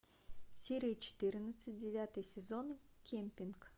серия четырнадцать девятый сезон кемпинг